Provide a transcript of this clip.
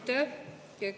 Aitäh!